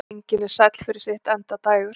Engin er sæll fyrir sitt endadægur.